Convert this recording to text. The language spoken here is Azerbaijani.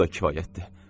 Bu da kifayətdir.